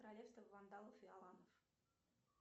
королевство вандалов и аланов